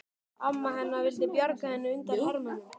Amma hennar vildi bjarga henni undan hermönnunum.